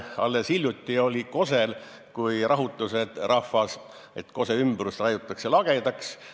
Alles hiljuti olid Kose rahutused: rahvas arvas, et Kose ümbrus raiutakse lagedaks.